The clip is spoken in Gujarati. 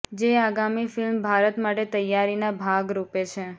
જે આગામી ફિલ્મ ભારત માટે તૈયારીનાં ભાગ રુપે છે